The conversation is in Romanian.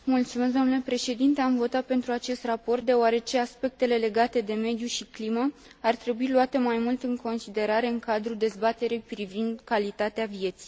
Am votat pentru acest raport deoarece aspectele legate de mediu și climă ar trebui luate mai mult în considerare în cadrul dezbaterii privind calitatea vieții.